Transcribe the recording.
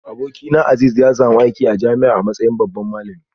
Abokina Azeez ya samu aiki a jami'a a matsayin babban malami